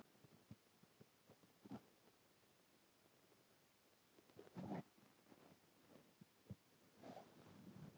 Í Gylfaginningu segir frá því er Týr gefur upp hönd sína:.